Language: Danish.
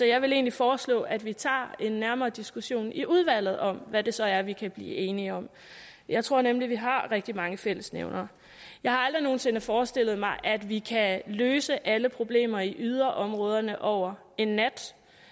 jeg vil egentlig foreslå at vi tager en nærmere diskussion i udvalget om hvad det så er vi kan blive enige om jeg tror nemlig at vi har rigtig mange fællesnævnere jeg har aldrig nogen sinde forestillet mig at vi kan løse alle problemer i yderområderne over en nat